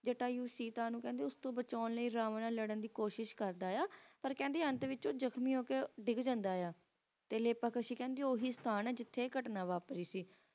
ਪ੍ਰਤੀਕਾਂ ਨੂੰ ਮਨੁੱਖ ਤੋਂ ਬਚਾਉਣ ਲਈ ਬਣਿਆ ਲੜਨ ਦੀ ਕੋਸ਼ਿਸ਼ ਕਰਦਾ ਹੈ ਪਰ ਅੰਤ ਵਿੱਚ ਜ਼ਖਮੀ ਹੋ ਕੇ ਡਿੱਗ ਜਾਂਦਾ ਹੈ ਤੇ ਲੇਪਕਾਸ਼ੀ ਉਹ ਹੈ ਅਸਥਾਨ ਹੈ ਜਿਥੇ ਆਏ ਸੀ